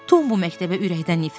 Tom bu məktəbə ürəkdən nifrət eləyir.